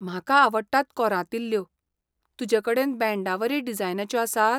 म्हाका आवडटात कोरांतिल्ल्यो. तुजेकडेन बँडावरी डिजायनाच्यो आसात?